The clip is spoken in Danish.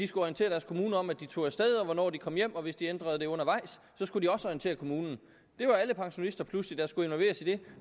skulle orientere deres kommune om at de tog af sted og hvornår de kom hjem og hvis de ændrede det undervejs skulle de også orientere kommunen det var alle pensionister der pludselig skulle involveres i det